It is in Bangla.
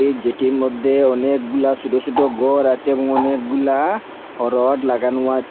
যেটির মদ্যে অনেকগুলা ছোট ছোট গর আচে এবং অনেকগুলা রড লাগানো আচে।